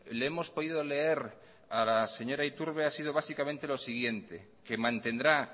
le hemos podido leer a la señora iturbe ha sido básicamente lo siguiente que mantendrá